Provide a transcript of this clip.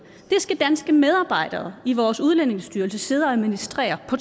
skal danske medarbejdere i vores udlændingestyrelse sidde og administrere på